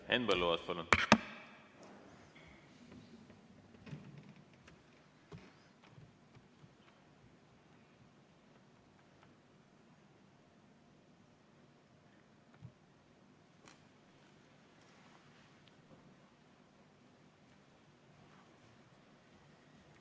Henn Põlluaas, palun!